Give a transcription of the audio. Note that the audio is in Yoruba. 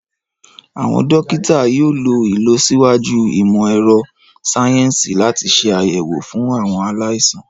Àwọn dókítà yóò lo ìlọsíwájú ìmọ̀ ẹ̀rọ sayensi láti ṣe àyẹ̀wò fún àwọn aláìsàn